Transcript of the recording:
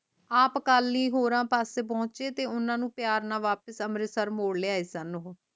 ਆਪ ਅਕਾਲੀ ਹੋਏ ਪਾਸੇ ਪੋਂਛ ਤੇ ਓਹਨਾ ਨੂੰ ਪਿਆਰ ਨਾਲ ਅੰਮ੍ਰਿਤਸਰ ਮੋੜ ਲਿਆਏ ਸਨ